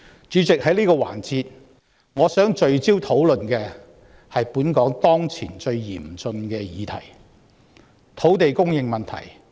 主席，在這個環節，我想聚焦討論的是本港當前最嚴峻的問題：土地供應問題。